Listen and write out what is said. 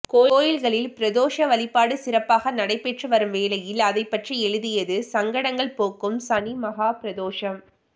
கோயில்களில் பிரதோஷ வழிபாடு சிறப்பாக நடைபெற்று வரும் வேளையில் அதைப்பற்றி எழுதியது சங்கடங்கள் போக்கும் சனிமஹா பிரதோஷம்